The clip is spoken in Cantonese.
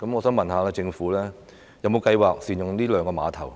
請問政府有否計劃善用這兩個碼頭呢？